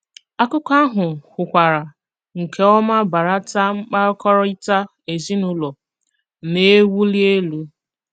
Àkụ̀kọ àhụ kwùkwàrà nke òma bàràtà mkpàkọ́rịtà ezinùlò na-ewùlì élù.